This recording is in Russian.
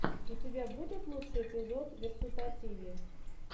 у тебя будет лучший эпизод версутативи